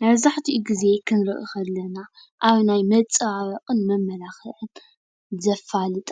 መብዛሕትኡ ግዜ ክንሪኢ ከለና ኣብ ናይ መፀባበቂንመማላክዕን ዘፋልጣ